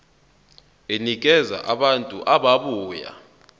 enikeza abantu ababuya